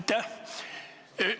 Aitäh!